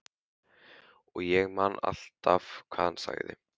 Og ég man alltaf hvað hann sagði.